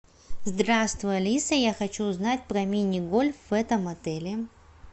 здравствуй алиса я хочу узнать про мини гольф в этом отеле